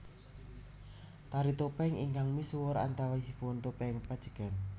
Tari topeng ingkang misuwur antawisipun Topeng Pajegan